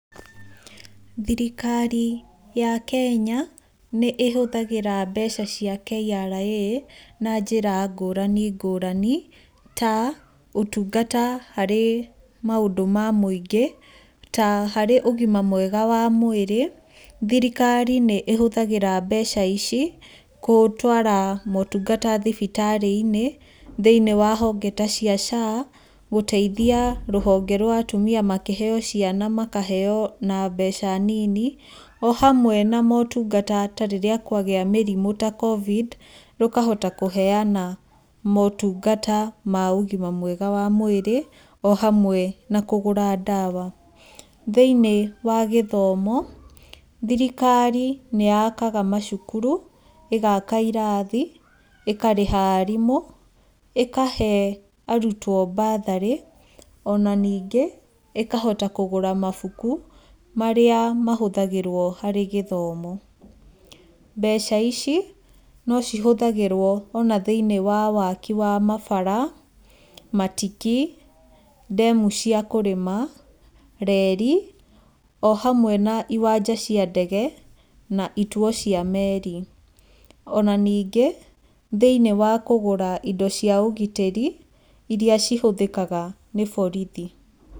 Thirikari ya Kenya, nĩ ĩhũthagĩra mbeca cia KRA na njĩra ngũrani ngũrani, ta ũtungata harĩ maũndũ ma mũingĩ, ta harĩ ũgima mwega wa mwĩrĩ, thirikari nĩ ĩhũthagĩra mbeca ici gũtuara motungata thibitarĩ-inĩ, thĩinĩ wa honge tacia SHA, gũteithia rũhonge rwa atumia makĩheyo ciana makaheyo na mbeca nini, o hamwe na motungata tarĩrĩa kwagĩa mĩrimũ ta covid rũkahota kũheyana motungata ma ũgima mwega wa mwĩrĩ, o hamwe na kũgũra ndawa, thĩinĩ wa gĩthomo, thirikari nĩ yakaga macukuru, ĩgaka irathi, ĩkarĩha arimũ, ĩkahe arutwo batharĩ, ona ningĩ ĩkahota kũgũra mabuku marĩa mahũthagĩrwo harĩ gĩthomo, mbeca ici nocihũthagĩrwo harĩ waki wa mabara, matiki, ndemu cia kũrĩma, reri, o hamwe na iwanja cia ndege, na ituo cia meri, ona nĩngĩ thĩinĩ wa kũgũra indo cia ũgitĩri, iria cihũthĩkaga nĩ borithi.